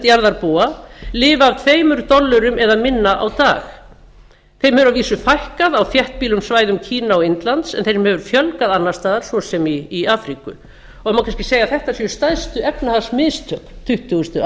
jarðarbúa lifa af tveim dollurum eða minna á dag þeim hefur að vísu fækkað á þéttbýlum svæðum kína og indlands en þeim hefur fjölgað annars staðar svo sem í afríku það má kannski segja að þetta séu stærstu efnahagsmistök tuttugustu